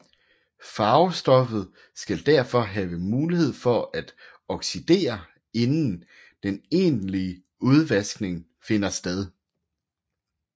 Farvestoffet skal derfor have mulighed for at oxidere inden den egentlige udvaskning finder sted